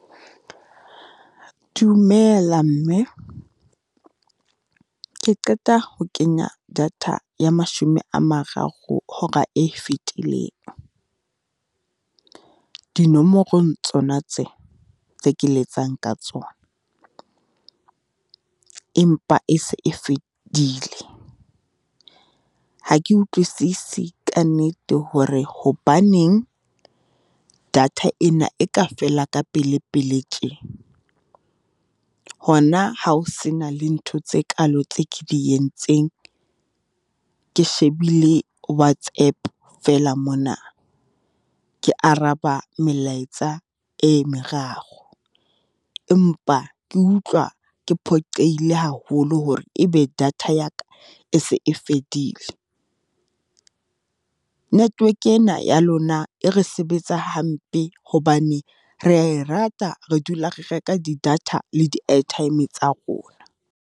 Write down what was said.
Dumela mme, ke qeta ho kenya data ya mashome a mararo hora e fetileng, dinomorong tsona tsena, tse ke letsang ka tsona. Empa e se e fedile, ha ke utlwisisi kannete hore hobaneng data ena e ka fela ka pelepele tje. Hona ha o se na le ntho tse kalo tse ke di entseng, ke shebile Whatsapp fela mona. Ke araba melaetsa e meraro, empa ke utlwa ke phoqehile haholo hore e be data ya ka, e se e fedile. Network ena ya lona e re sebetsa hampe hobane re a e rata, re dula re reka di-data le di-airtime tsa rona.